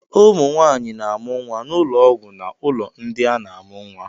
Ụmụ nwanyị na-amụ nwa n'ụlọọgwụ na ụlọ ndị a na-amụ nwa.